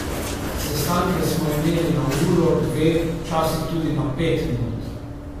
Sestanke smo imeli na uro, dve, včasih tudi na pet minut.